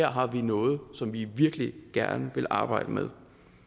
har vi noget som vi virkelig gerne vil arbejde med